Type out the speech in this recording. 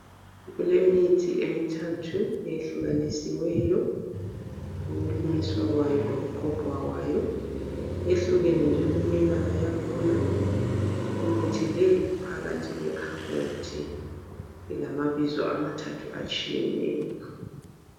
Kulemithi emithathu eyehlukanisiweyo ukumiswa kwayo lokuqoqwa kwayo yehlukene njalo imibala yakhona imithi leyi iphakathi kwe khabothi ilamabizo amathathu atshiyeneyo.